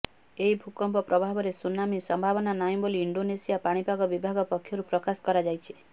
ଏହି ଭୂକମ୍ପ ପ୍ରଭାବରେ ସୁନାମି ସମ୍ଭାବନା ନାହିଁ ବୋଲି ଇଣ୍ଡୋନେସିଆ ପାଣିପାଗ ବିଭାଗ ପକ୍ଷରୁ ପ୍ରକାଶ କରାଯାଇଛି